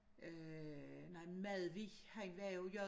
Øh nej Madvig han var jo j